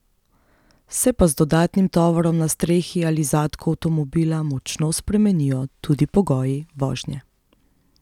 Se pa z dodatnim tovorom na strehi ali zadku avtomobila močno spremenijo tudi pogoji vožnje.